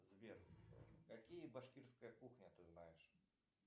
сбер какие башкирская кухня ты знаешь